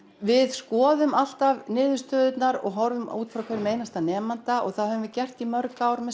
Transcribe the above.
við skoðum alltaf niðurstöðurnar og horfum út frá hverjum einasta nemanda það höfum við gert í mörg ár með